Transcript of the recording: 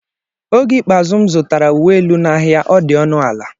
Oge ikpeazụ m zụtara uwe elu n'ahịa, ọ dị ọnụ ala.